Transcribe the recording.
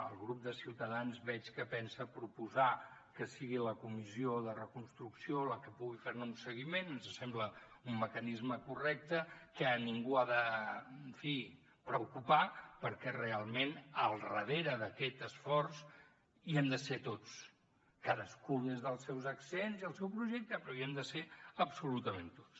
el grup de ciutadans veig que pensa proposar que sigui la comissió de reconstrucció la que pugui fer ne un seguiment ens sembla un mecanisme correcte que a ningú ha de en fi preocupar perquè realment al darrere d’aquest esforç hi hem de ser tots cadascun des dels seus accents i el seu projecte però hi hem de ser absolutament tots